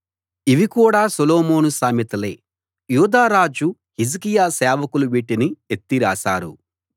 ఇవికూడా Solomon సామెతలే యూదారాజు హిజ్కియా సేవకులు వీటిని ఎత్తి రాసారు